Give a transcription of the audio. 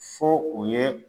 Fo o ye